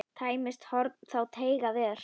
Tæmist horn þá teygað er.